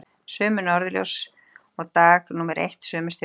Sömu norðurljós og dag númer eitt, sömu stjörnur.